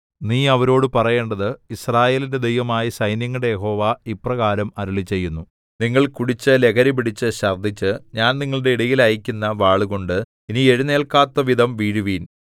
നീ അവരോടു പറയേണ്ടത് യിസ്രായേലിന്റെ ദൈവമായ സൈന്യങ്ങളുടെ യഹോവ ഇപ്രകാരം അരുളിച്ചെയ്യുന്നു നിങ്ങൾ കുടിച്ചു ലഹരിപിടിച്ച് ഛർദ്ദിച്ച് ഞാൻ നിങ്ങളുടെ ഇടയിൽ അയയ്ക്കുന്ന വാളുകൊണ്ട് ഇനി എഴുന്നേല്ക്കാത്തവിധം വീഴുവിൻ